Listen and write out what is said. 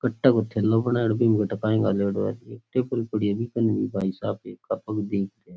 कट्टा को थैलों बणायोडा है बीके मा काई घालियोड़ो है --